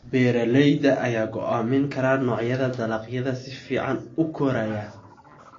Beeralayda ayaa go'aamin kara noocyada dalagyada si fiican u koraya.